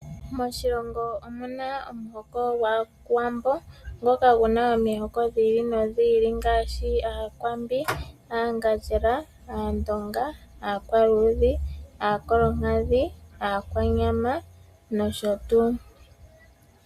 Moshilongo omuna omuhoko gwaawambo ngoka guna omihoko dhiili nodhiili ngaashi Aakwambi, Aangandjela, Aandonga, Aakwaluudhi, Aankolonkadhi, Aakwanyama nosho tuu.